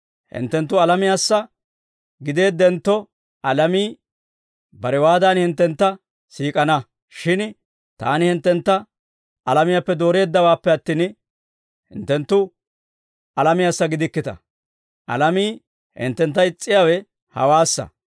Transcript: Hinttenttu alamiyaassa gideeddentto, alamii barewaadan hinttentta siik'ana; shin Taani hinttentta alamiyaappe dooreeddawaappe attin, hinttenttu alamiyaassa gidikkita; alamii hinttentta is's'iyaawe hawaassa.